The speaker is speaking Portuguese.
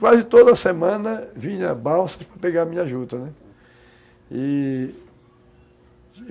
Quase toda semana vinham balsas para pegar a minha juta, né? E...